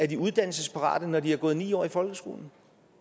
de uddannelsesparate når de har gået ni år i folkeskole